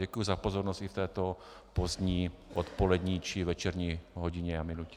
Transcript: Děkuji za pozornost i v této pozdní odpolední či večerní hodině a minutě.